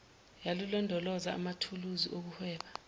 yokulondoloza amathuluzi okuhweba